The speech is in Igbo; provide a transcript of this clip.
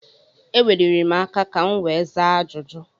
E weliri m aka ka m wee zaa ajụjụ.